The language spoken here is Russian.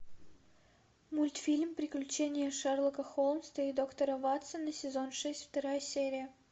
мультфильм приключения шерлока холмса и доктора ватсона сезон шесть вторая серия